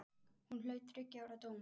Hún hlaut þriggja ára dóm.